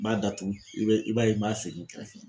N b'a datugu i b'a i b'a ye n b'a sigi n kɛrɛfɛ.